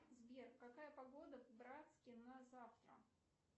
сбер какая погода в братске на завтра